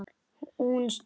Þú stynur.